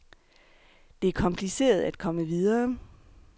Det er kompliceret at komme videre.